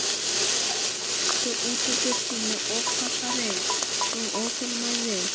Einhverjir lömdu útidyrnar með offorsi og óþolinmæði.